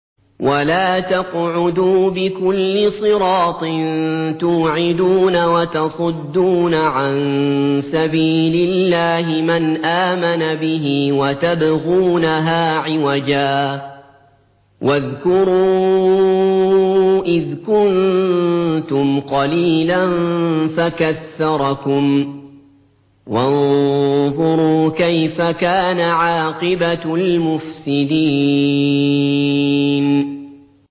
وَلَا تَقْعُدُوا بِكُلِّ صِرَاطٍ تُوعِدُونَ وَتَصُدُّونَ عَن سَبِيلِ اللَّهِ مَنْ آمَنَ بِهِ وَتَبْغُونَهَا عِوَجًا ۚ وَاذْكُرُوا إِذْ كُنتُمْ قَلِيلًا فَكَثَّرَكُمْ ۖ وَانظُرُوا كَيْفَ كَانَ عَاقِبَةُ الْمُفْسِدِينَ